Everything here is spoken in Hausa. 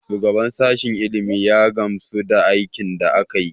Shugaban sashen ilimi ya gamsu da aikin da aka yi.